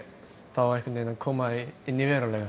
þá einhvern veginn að koma því inn í veruleikann